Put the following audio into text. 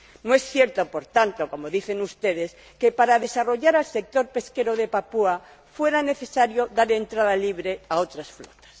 No es cierto, por tanto, como dicen ustedes, que para desarrollar el sector pesquero de Papúa Nueva Guinea fuera necesario dar entrada libre a otras flotas.